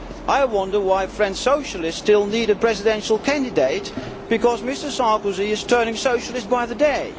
I wonder why French socialists still need a presidential candidate because Mr Sarkozy is turning socialist by the day.